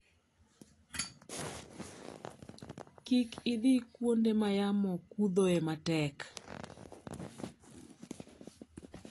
Kik idhi kuonde ma yamo kuthoe matek.